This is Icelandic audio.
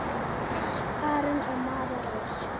Hannes Aron og María Rós.